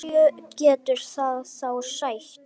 Hverju getur það þá sætt?